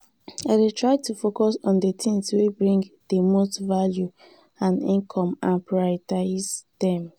i dey try to focus on di tings wey bring di most value and income and prioritize dem.